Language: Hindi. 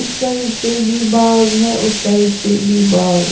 इस साइड से भी बाग है उस साइड से भी बाग है।